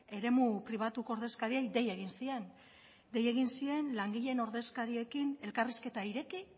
eremu pribatuko ordezkariei dei egin zien dei egin zien langileen ordezkariekin elkarrizketa ireki